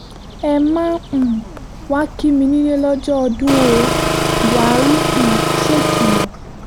ẹ má um wáá kí mi nílé lọ́jọ́ ọdún ó buhari um ṣèkìlọ̀